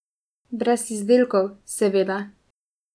Brez izdelkov, seveda.